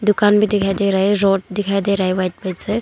दुकान भी दिखाई दे रहा है रॉड दिखाई दे रहा है वाइट पेंट से।